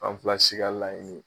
An fila si ka laɲini ye